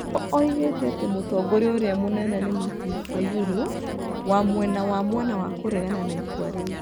Nĩ oigĩte atĩ mũtongoria ũrĩa mũnene nĩ Martin Fayulu wa mwena wa mwena wa kũregana na itua rĩu.